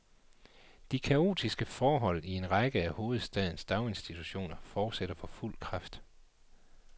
De kaotiske forhold i en række af hovedstadens daginstitutioner fortsætter for fuld kraft.